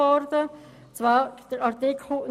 Es handelt sich um den Artikel 29b.